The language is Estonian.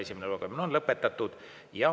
Esimene lugemine on lõpetatud.